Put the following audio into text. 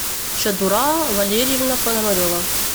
чодураа валерьевна пономарева